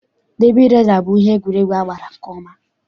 Dabi resa bụ ihe egwuregwu a maara nke ọma.